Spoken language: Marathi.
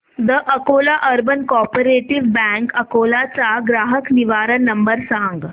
the Akola urban cooperative bank Akola चा ग्राहक निवारण नंबर सांग